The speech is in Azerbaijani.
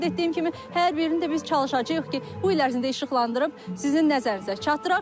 Mən sizə qeyd etdiyim kimi hər birini də biz çalışacağıq ki, bu il ərzində işıqlandırıb sizin nəzərinizə çatdıraq.